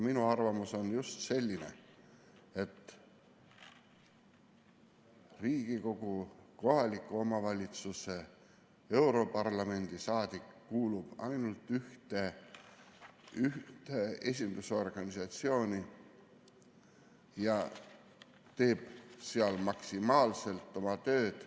Minu arvamus on selline, et Riigikogu, kohaliku omavalitsuse, europarlamendi saadik kuulub ainult ühte esindusorganisatsiooni ja teeb seal maksimaalselt oma tööd.